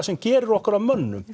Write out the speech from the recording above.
sem gerir okkur að mönnum